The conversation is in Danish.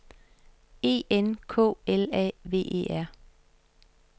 E N K L A V E R